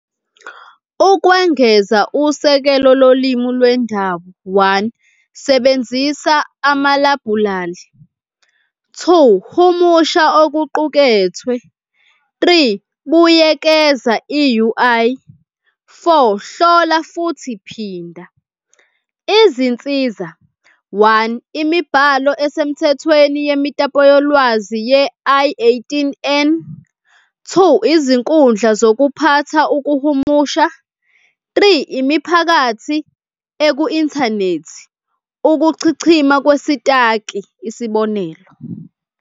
Ukwengeza usekela lolimi lwendawo, one, sebenzisa amalabhulali. Two, humusha okuqukethwe. Three, buyekeza i-U_I. Four, hlola futhi phinda. Izinsiza, one, imibhalo esemthethweni yemitapo yolwazi ye-I eighteen N. Two, izinkundla zokuphatha ukuhumusha. Three, imiphakathi eku-inthanethi, ukuchichima kwesitaki, isibonelo.